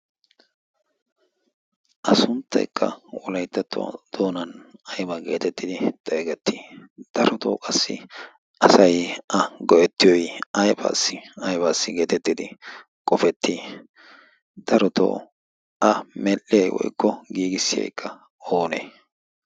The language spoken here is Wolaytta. a suntteekka wolaittattuwaa doonan aybaa geetettidi xeegettii? darotoo qassi asai a go'ettiyoi aifaassi aibaasi geetettidi qofettii darotoo a medhdhiyay woykko giigissiyaekka oonee?